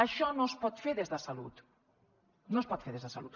això no es pot fer des de salut no es pot fer des de salut